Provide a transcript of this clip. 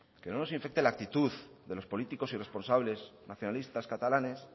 que no nos infecte la actitud de los políticos y responsables nacionalistas catalanes